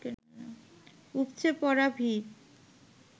উপচে পড়া ভিড়